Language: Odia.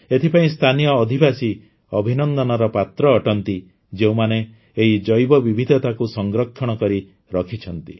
ଏଥିପାଇଁ ସ୍ଥାନୀୟ ଅଧିବାସୀ ଅଭିନନ୍ଦନର ପାତ୍ର ଅଟନ୍ତି ଯେଉଁମାନେ ଏହି ଜୈବବିବିଧତାକୁ ସଂରକ୍ଷିତ କରି ରଖିଛନ୍ତି